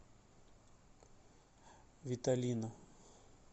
виталина